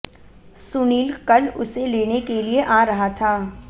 सुनील कल उसे लेने के लिए आ रहा था